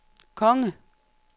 konge